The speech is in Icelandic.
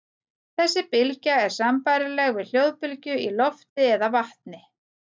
Þessi bylgja er sambærileg við hljóðbylgju í lofti eða vatni.